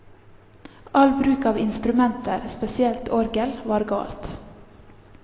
All bruk av instrumenter, spesielt orgel, var galt.